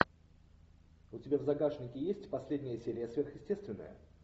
у тебя в загашнике есть последняя серия сверхъестественное